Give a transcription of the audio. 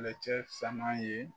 Kɛlɛcɛ caman ye